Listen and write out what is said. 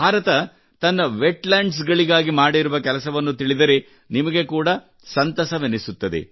ಭಾರತ ತನ್ನ ವೆಟ್ಲ್ಯಾಂಡ್ಸ್ ಗಾಗಿ ಮಾಡಿರುವ ಕೆಲಸವನ್ನು ತಿಳಿದರೆ ನಿಮಗೆ ಕೂಡಾ ಬಹಳ ಸಂತಸವೆನಿಸುತ್ತದೆ